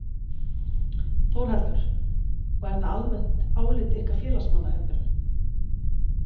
Þórhallur: Og er það almennt álit ykkar félagsmanna heldurðu?